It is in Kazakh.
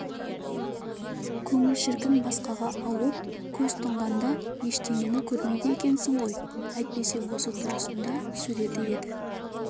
көңіл шіркін басқаға ауып көз тұнғанда ештеңені көрмейді екенсің ғой әйтпесе осы тұрысында суреті еді